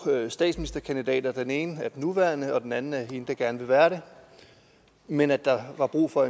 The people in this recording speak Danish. statsministerkandidater den ene er den nuværende og den anden er hende der gerne vil være det men at der var brug for